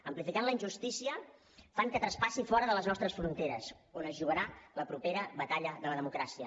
amplificant la injustícia fan que traspassi fora de les nostres fronteres on es jugarà la propera batalla de la democràcia